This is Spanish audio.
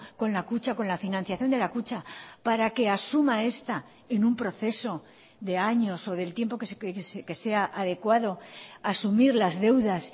con la kutxa con la financiación de la kutxa para que asuma esta en un proceso de años o del tiempo que sea adecuado asumir las deudas